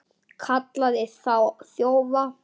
Kallaði þá þjófa.